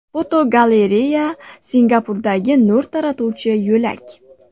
Fotogalereya: Singapurdagi nur taratuvchi yo‘lak.